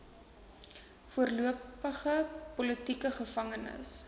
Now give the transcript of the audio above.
voormalige politieke gevangenes